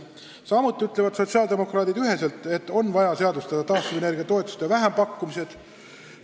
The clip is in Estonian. Samuti ütlevad sotsiaaldemokraadid üheselt, et on vaja seadustada taastuvenergia toetuste vähempakkumised.